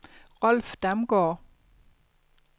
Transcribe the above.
Rolf Damgaard